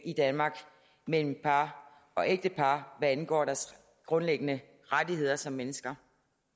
i danmark mellem par og ægtepar hvad angår deres grundlæggende rettigheder som mennesker